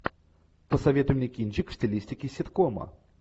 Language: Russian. посоветуй мне кинчик в стилистике ситкома